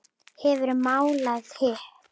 Hefurðu málað hitt?